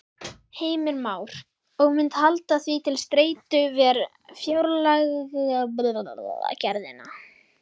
Heimir Már: Og munt halda því til streitu við fjárlagagerðina?